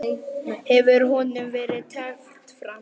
Hefur honum verið teflt fram?